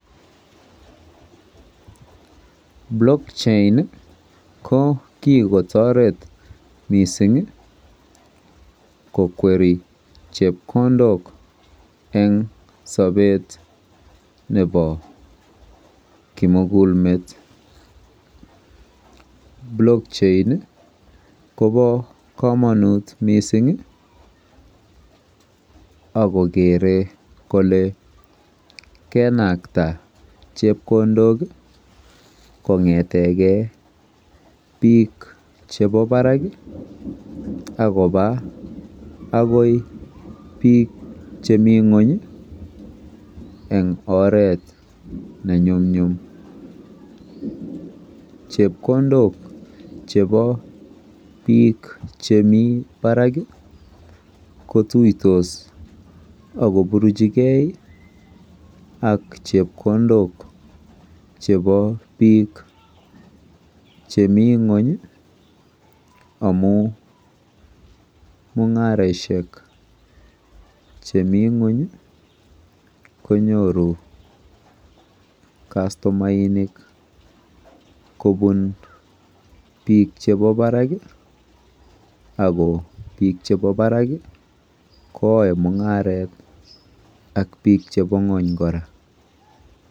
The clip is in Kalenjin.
blockchain iih ko kigotoret mising iih kokwerii chepokondook en sobeet nebo kimuguul meet, blockchain iih kobo komonuut mising iih ak kogere kole kenakta chepkondook konetegee biik chebo baraak ak kobaa agoi biik chemii nweny iih en oreet nemyumnyum, chepkondook chebo biik chemii barak iih kotuitos ak koburchigee ak chepkondook chebo biik chemii nweny iih amuun mungaroshek cheminweny iih konyoru kastomainik kobuun biik chebo baraak iih, ago biik chebo barak iih koyoe mungareet ak biik chebo nwony koraa.